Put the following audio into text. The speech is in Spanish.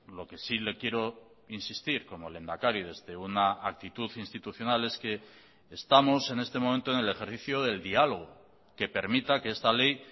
lo que sí le quiero insistir como lehendakari desde una actitud institucional es que estamos en este momento en el ejercicio del diálogo que permita que esta ley